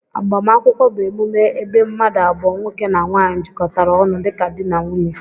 Agbamakwụkwọ bu emume ebee mmadu abụọ( nwoke na nwanyi)jikọtara onụ dika di n'nwunye